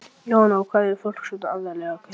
Jóhanna: Og hvað er fólk svona aðallega að kaupa?